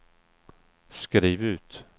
skriv ut